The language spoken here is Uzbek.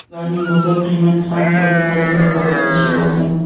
ularning bozor qiymati ham to‘liq hajmda qoplanishi lozim.